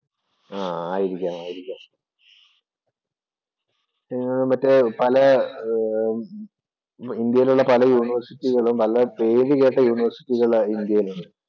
ആഹ് ആയിരിക്കാം, ആയിരിക്കാം. പിന്നെ മറ്റേ ഇന്ത്യയിലുള്ള പല യൂണിവേഴ്സിറ്റികളും, പല പേരുകേട്ട യൂണിവേഴ്സികള്‍ ഇന്ത്യയിലുണ്ട്.